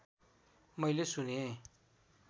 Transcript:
मैले सुनेँ